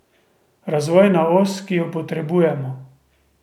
Razvojna Os, ki jo potrebujemo.